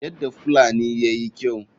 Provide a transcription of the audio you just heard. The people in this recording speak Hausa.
Yadda fullani yayi kyau.